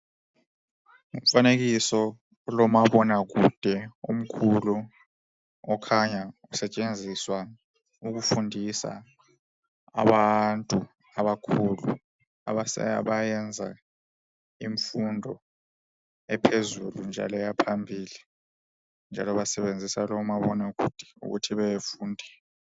Umfanekiso ulomabonakude omkhulu okhanya usetshenziswa ukufundisa abantu abakhulu abayenza imfundo ephezulu njalo yaphambili njalo basebenzisa lowo mabonakude ukuthi befunde.